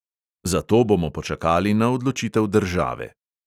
Zato bomo počakali na odločitev države.